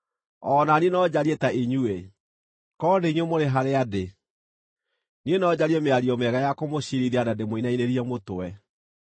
O na niĩ no njarie ta inyuĩ, korwo nĩ inyuĩ mũrĩ harĩa ndĩ; niĩ no njarie mĩario mĩega ya kũmũciirithia na ndĩmũinainĩrie mũtwe.